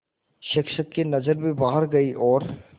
शिक्षक की नज़र भी बाहर गई और